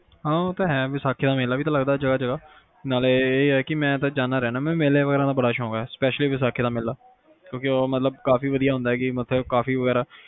ਹਾ ਉਹ ਤਾ ਹੈ ਵੈਸਾਖੀ ਦਾ ਮੇਲਾ ਵੀ ਤਾ ਲੱਗਦਾ ਐ ਜਗਾਹ ਜਗਾਹ ਨਾਲੇ ਇਹ ਆ ਕਿ ਵੀ ਮੈਂ ਤਾ ਜਾਂਦਾ ਹੀ ਰਹਿੰਦਾ ਹੈ ਮੈਂ ਮੇਲੇ ਵਗੈਰਾ ਦਾ ਬੜਾ ਸ਼ੋਕ ਹੈ spectially ਵੈਸਾਖੀ ਦਾ ਮੇਲਾ, ਕਿਉਕਿ ਉਹ ਕਾਫੀ ਵਧੀਆ